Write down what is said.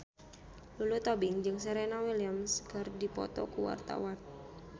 Lulu Tobing jeung Serena Williams keur dipoto ku wartawan